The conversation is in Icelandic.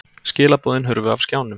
Skilaboðin hurfu af skjánum.